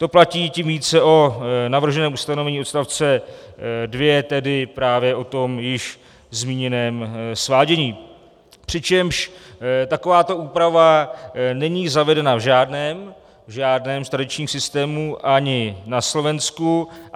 To platí tím více o navrženém ustanovení odstavce 2, tedy právě o tom již zmíněném svádění, přičemž takováto úprava není zavedena v žádném z tradičních systémů, ani na Slovensku.